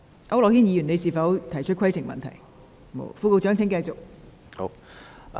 區諾軒議員，你是否想提出規程問題?